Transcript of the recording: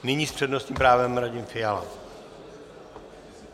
Nyní s přednostním právem Radim Fiala.